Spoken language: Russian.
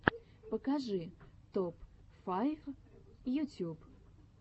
покажи топ файв ютюб